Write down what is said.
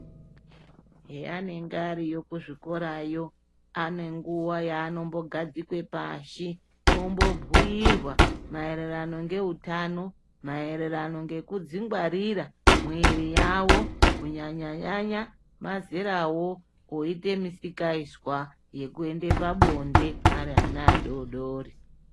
Heanenge ariyo kuzvikorayo anenguwa yanombogadzikwe pashi ombobhuirwa ngeutano mairirano ngekudzigwarira mwiri yavo kunyanya nyanya mazerawo oite misikazwa yekuenda pabonde ari ana adodori.